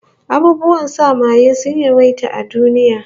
Abubuwan sa maye sun yawaita a duniya